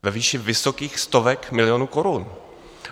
Ve výši vysokých stovek milionů korun.